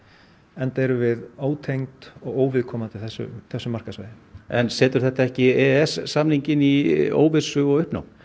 enda erum við ótengd og óviðkomandi þessu þessu markaðssvæði en setur þetta ekki e e s samninginn í óvissu og uppnám